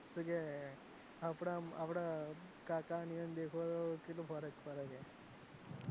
એટલે કે આપડા આપડા કાકા ને કેટલો ફર્ક પડે કે,